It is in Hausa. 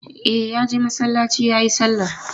E, ya je masallaci ya yi sallar.